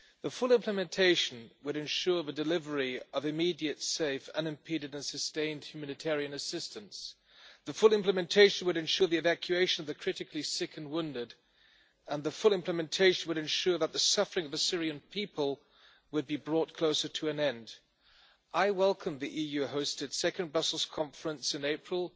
Full implementation would ensure the delivery of immediate, safe, unimpeded and sustained humanitarian assistance. Full implementation would ensure the evacuation of the critically sick and wounded, and full implementation would ensure that the suffering of the Syrian people would be brought closer to an end. I welcome the EU-hosted second Brussels conference in April